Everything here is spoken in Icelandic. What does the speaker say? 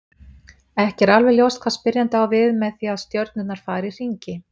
Ekki er alveg ljóst hvað spyrjandi á við með því að stjörnurnar fari í hringi.